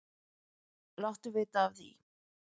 Láttu vita af því.